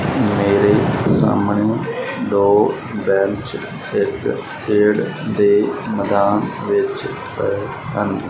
ਮੇਰੇ ਸਾਹਮਣੇ ਦੋ ਬੈਂਚ ਖੇਡ ਦੇ ਮੈਦਾਨ ਵਿੱਚ ਪਏ ਹਨ।